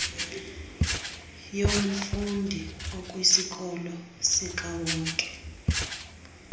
yomfundi okwisikolo sikawonke